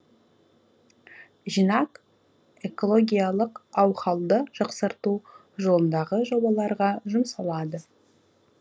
жинақ экологиялық аухалды жақсарту жолындағы жобаларға жұмсалады